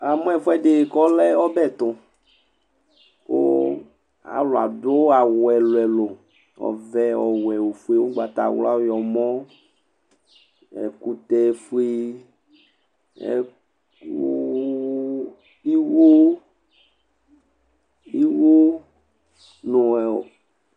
Namʊ ɛfʊɛdɩ kɔlɛ ɔbɛ tʊ, kʊ alʊ adʊ awʊ ɛlʊɛlʊ ɔvɛ, ɔwɛ, ofʊz, ʊgbatawla, ɔwlɔmɔ, nɛkʊtɛ fʊe, ɩwo nʊ